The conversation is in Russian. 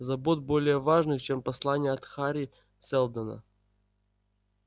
забот более важных чем послание от хари сэлдона